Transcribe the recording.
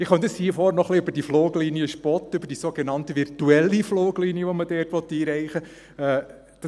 Ich könnte hier vorne noch ein bisschen über diese Fluglinie spotten, über die sogenannt virtuelle Fluglinie, welche man einrichten will.